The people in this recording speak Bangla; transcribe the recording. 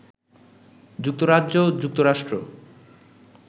যুক্তরাজ্য, যুক্তরাষ্ট্র